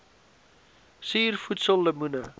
suur voedsel lemoene